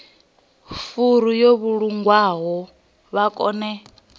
furu yo vhulungwaho vha kone